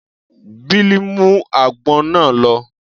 Bill mú àgbọn náà lọ.